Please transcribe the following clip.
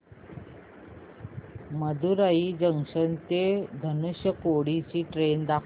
Madurai junction ते धनुषकोडी ची train दाखव